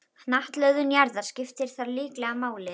Hnattlögun jarðar skiptir þar líklega máli.